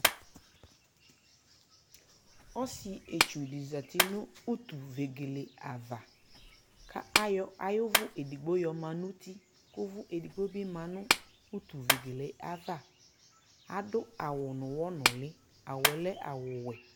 ɔsii ɛtsʋ di zati nʋ ʋtʋ vɛgɛlɛ aɣa kʋ ayɔ ayi ʋvʋ ɛdigbɔ yɔma nʋ ʋti kʋ ʋvʋ ɛdigbɔ bi manʋ ʋtʋ vɛgɛlɛ aɣa, adʋ awʋ nʋ ʋwɔ nʋli, awʋɛ lɛ awʋ wɛ